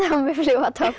upp